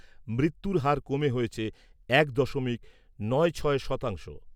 মৃত্যুর হার কমে হয়েছে এক দশমিক নয় ছয় শতাংশ।